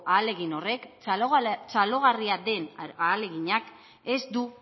ahalegin horrek txalogarria den ahaleginak ez du